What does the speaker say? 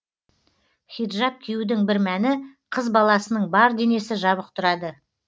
хиджаб киюдің бір мәні қыз баласының бар денесі жабық тұрады